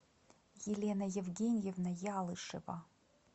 елена евгеньевна ялышева